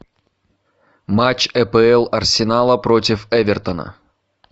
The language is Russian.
матч апл арсенала против эвертона